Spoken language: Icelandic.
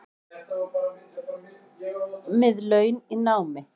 Með laun í námi